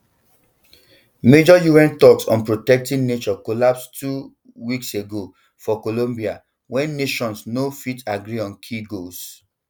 major un talks on protecting nature collapse two um weeks ago for colombia wen nations no um fit agree on key goals